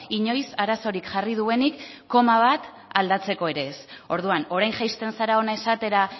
inoiz arazorik jarri duenik koma bat aldatzeko ere ez orduan orain jaisten zara hona esatera